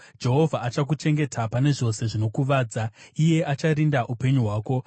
Jehovha achakuchengeta pane zvose zvinokuvadza, iye acharinda upenyu hwako;